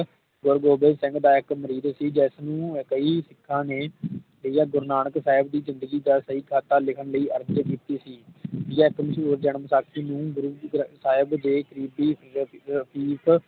ਗੁਰੂ ਗੋਬਿੰਦ ਸਿੰਘ ਦਾ ਇਕ ਮੈਰਿਜ ਸੀ ਜਿਸ ਨੂੰ ਕਈ ਸਿੱਖਾਂ ਨੇ ਗੁਰੂ ਨਾਨਕ ਸਾਹਿਬ ਦੀ ਜਿੰਦਗੀ ਦਾ ਸਕੀ ਖਾਤਾ ਲਿਖਣ ਲਈ ਅਰਥਲਿਪੀ ਜਨਮਸਾਖੀ ਨੂੰ ਗੁਰੂ ਗ੍ਰੰਥ ਸਾਹਿਬ ਦੇ ਲਿਪੀ ਵਿਚ ਲਿਖ